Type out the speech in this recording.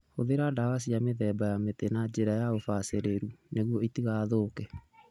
Hũthĩra ndawa cia mĩthemba ya mĩtĩ na njĩra ya ũbacĩrĩru nĩguo ũtigathũke.